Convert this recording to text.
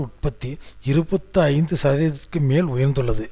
உற்பத்தி இருபத்தி ஐந்து சதவீதத்திற்கு மேல் உயர்ந்துள்ளது